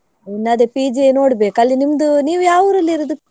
ಇನ್ನದೇ PG ಯೇ ನೋಡ್ಬೇಕು. ಅಲ್ಲಿ ನಿಮ್ದು ನೀವು ಯಾವ ಊರಲ್ಲಿ ಇರುದು?